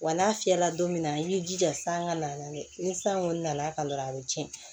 Wa n'a fiyɛla don min na i b'i jija san ka na dɛ ni san kɔni nana ka dɔrɔn a bi cɛn